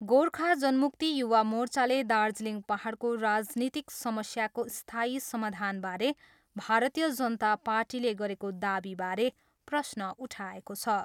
गोर्खा जनमुक्ति युवा मोर्चाले दार्जिलिङ पाहाडको राजनीतिक समस्याको स्थायी समाधानबारे भारतीय जनता पार्टीले गरेको दावीबारे प्रश्न उठाएको छ।